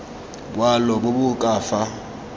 boalo bo bo ka fa